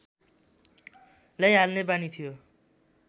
ल्याइहाल्ने बानी थियो